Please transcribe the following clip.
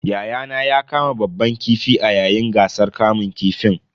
Yayana ya kama babban kifi a yayin gasar kamun kifin.